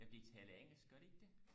ja de taler engelsk gør de ikke det